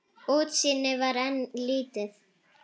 Útsýnið var enn lítið.